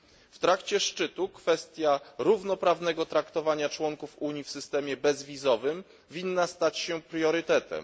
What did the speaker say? W trakcie szczytu kwestia równoprawnego traktowania członków Unii w systemie bezwizowym powinna stać się priorytetem.